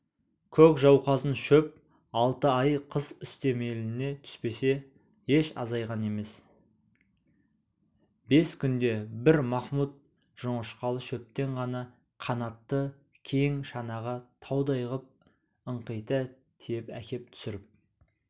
көк жауқазын шөп алты ай қыс үстемелене түспесе еш азайған емес бес күнде бір махмұд жоңышқалы шөптен ғана қанатты кең шанаға таудай ғып ыңқита тиеп әкеп түсіріп